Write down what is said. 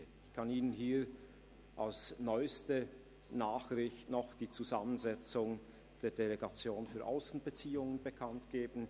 Ich kann Ihnen hier als neuste Nachricht die Zusammensetzung der Delegation für Aussenbeziehungen angeben.